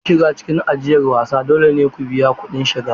Don shiga cikin ajiyar wasan, dole ne ku biya kuɗin shiga.